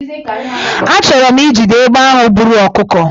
Achọrọ m ijide egbe ahụ buru ọkụkọ